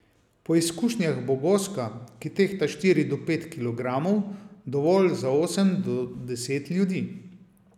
Po izkušnjah bo goska, ki tehta štiri do pet kilogramov, dovolj za osem do deset ljudi.